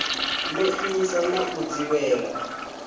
no imisa na u dzivhela